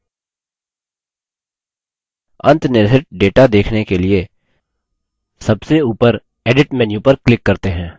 अंतनिर्हित data देखने के लिए सबसे ऊपर edit menu पर click करते हैं